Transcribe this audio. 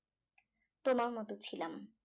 তোমার মত ছিলাম